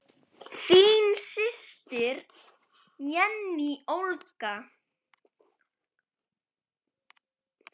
Þín systir, Jenný Olga.